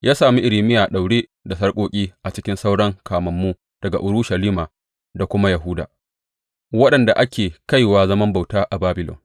Ya sami Irmiya a daure da sarƙoƙi a cikin sauran kamammu daga Urushalima da kuma Yahuda waɗanda ake kaiwa zaman bauta a Babilon.